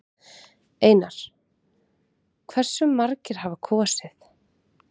Einar: Hversu margir hafa kosið?